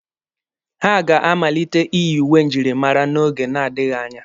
Ha ga-amalite iyi uwe njirimara n'oge na-adịghi anya.